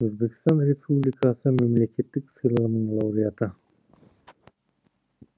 өзбекстан республикасы мемлекеттік сыйлығының лауреаты